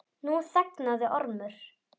Nú þagnaði Ormur.